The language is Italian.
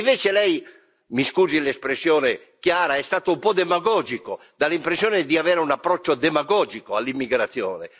Invece lei mi scusi l'espressione chiara è stato un po' demagogico, dà l'impressione di avere un approccio demagogico all'immigrazione.